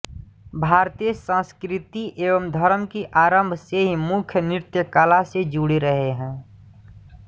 भारतीय संस्कृति एवं धर्म की आरंभ से ही मुख्यत नृत्यकला से जुड़े रहे हैं